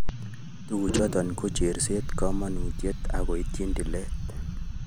Tuguchoto ko, cherset, kamanutiet agoityi tilet.